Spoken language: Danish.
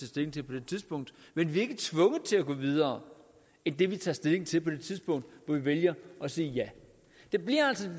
stilling til på det tidspunkt men vi er ikke tvunget til at gå videre end det vi tager stilling til på det tidspunkt hvor vi vælger at sige ja det bliver altså